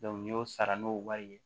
n y'o sara n'o wari ye